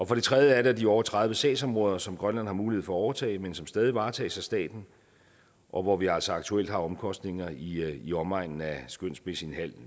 for det tredje er der de over tredive sagsområder som grønland har mulighed for at overtage men som stadig varetages af staten og hvor vi altså aktuelt har omkostninger i omegnen af skønsmæssigt